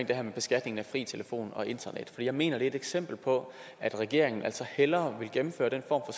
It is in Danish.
det her med beskatning af fri telefon og internet for jeg mener det er et eksempel på at regeringen altså hellere vil gennemføre den form